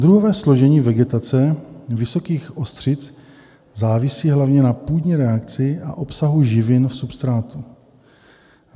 Druhové složení vegetace vysokých ostřic závisí hlavně na půdní reakci a obsahu živin v substrátu.